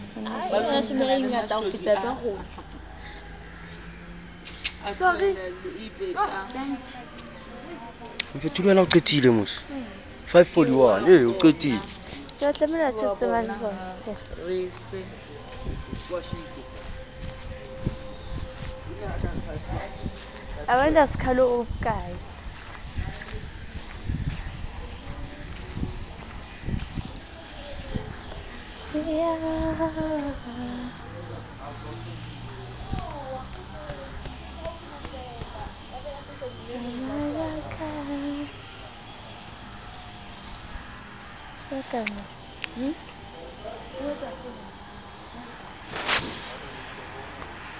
ho na le e le